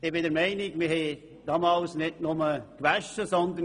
Ich bin der Meinung, dass wir damals nicht nur gewaschen haben.